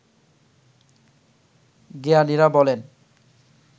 জ্ঞানীরা বলেন